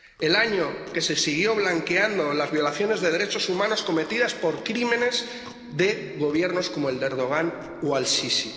el año en que se siguieron blanqueando las violaciones de derechos humanos cometidas por crímenes de gobiernos como el de Erdogan o Al Sisi.